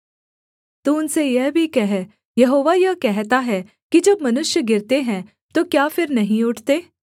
तू उनसे यह भी कह यहोवा यह कहता है कि जब मनुष्य गिरते हैं तो क्या फिर नहीं उठते